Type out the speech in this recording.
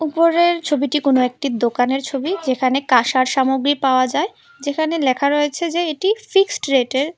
উপরের ছবিটি কোন একটি দোকানের ছবি যেখানে কাঁসার সামগ্রী পাওয়া যায় যেখানে লেখা রয়েছে যে এটি ফিক্সড রেটের।